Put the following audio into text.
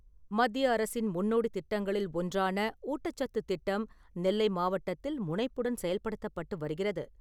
மத்திய அரசின் முன்னோடித் திட்டங்களில் ஒன்றான ஊட்டச்சத்து திட்டம் நெல்லை மாவட்டத்தில் முனைப்புடன் செயல்படுத்தப்பட்டு வருகிறது.